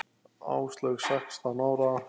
Áslaug sextán ára.